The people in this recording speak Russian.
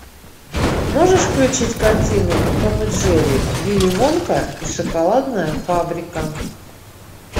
можешь включить картину том и джерри вилли вонка и шоколадная фабрика